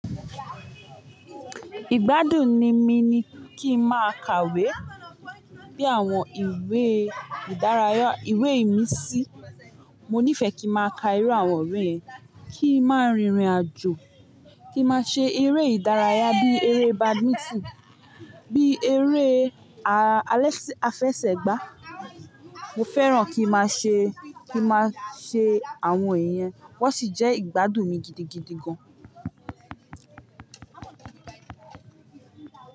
Ìgbádùn ni mi ni kí n máa kàwé, bí àwọn ìwé ìdárayá, ìwé ìmísí. Mo nífẹ̀ẹ́ kí n máa ka irú àwọn iwe yen, kí n máa rìnrìn àjò, kí n máa ṣe eré ìdárayá bí eré badminton, bí eré ah alésẹ́ afẹsẹ̀gbá. Mo fẹ́ràn kí máa ṣe, kí máa ṣe àwọn iyen, wọ́n sì jẹ́ ìgbádùn mi gidigidi gan.